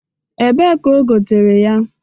Ebee ka o gotere ya?